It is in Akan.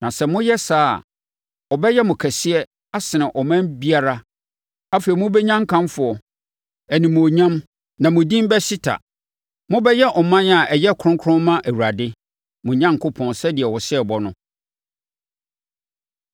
Na sɛ moyɛ saa a, ɔbɛyɛ mo kɛseɛ asene ɔman biara. Afei, mobɛnya nkamfoɔ, animuonyam, na mo din bɛhyeta. Mobɛyɛ ɔman a ɛyɛ kronkron ma Awurade, mo Onyankopɔn sɛdeɛ ɔhyɛɛ bɔ no.